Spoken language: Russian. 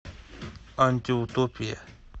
антиутопия